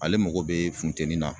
Ale mago be funteni na